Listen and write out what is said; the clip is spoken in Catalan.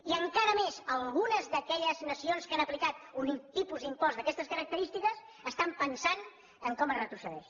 i encara més algunes d’aquelles nacions que han aplicat un tipus d’impost d’aquestes característiques estan pensant en com es retrocedeix